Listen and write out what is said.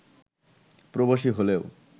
প্রবাসী হলেও